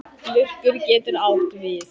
Lurkur getur átt við